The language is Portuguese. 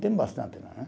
Tem bastante.